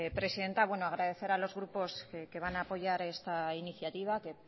presidenta agradecer a los grupos que van a apoyar esta iniciativa que